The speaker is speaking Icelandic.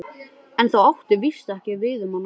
En það átti víst ekki við um hana.